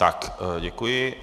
Tak děkuji.